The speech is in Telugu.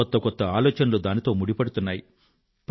కొత్త కొత్త ఆలోచనలు దానితో ముడిపడుతున్నాయి